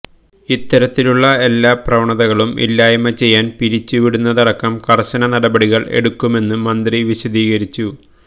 ഇത്തരത്തിലുള്ള എല്ലാ പ്രവണതകളും ഇല്ലായ്മ ചെയ്യാൻ പിരിച്ചു വിടുന്നതടക്കം കർശന നടപടികൾ എടുക്കുമെന്നു മന്ത്രി വിശദീകരിച്ചു